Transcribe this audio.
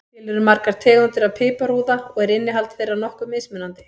Til eru margar tegundir af piparúða og er innihald þeirra nokkuð mismunandi.